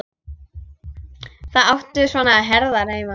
Þar áttu svona herðar heima.